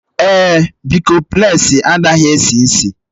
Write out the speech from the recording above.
Èé, bịkọmplesi anaghị esi ísì.